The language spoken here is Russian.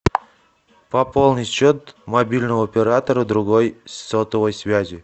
пополнить счет мобильного оператора другой сотовой связи